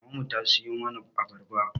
Maman mu ta siyo mana abarba